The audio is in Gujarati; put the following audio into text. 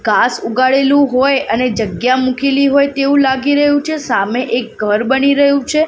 ઘાસ ઉગાડેલુ હોય અને જગ્યા મુકેલી હોય તેવું લાગી રહ્યુ છે સામે એક ઘર બની રહ્યુ છે.